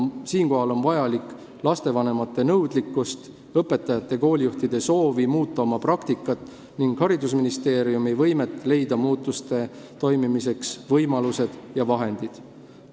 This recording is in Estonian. Siinkohal on vaja lastevanemate nõudlikkust, õpetajate ja koolijuhtide soovi muuta oma praktikat ning haridusministeeriumi võimet leida muutuste toimimiseks võimalused ja vahendid.